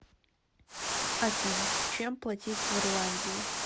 афина чем платить в ирландии